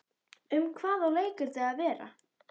Um hvað á leikritið að vera?